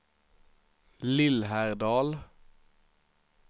Lillhärdal